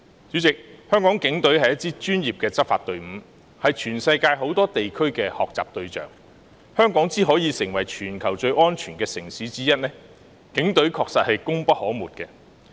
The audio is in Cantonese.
主席，香港警隊是一支專業的執法隊伍，是全世界很多地區的學習對象，香港能成為全球最安全的城市之一，警隊確實功不可沒。